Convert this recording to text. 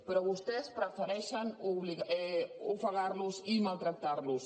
però vostès prefereixen ofegar los i maltractar los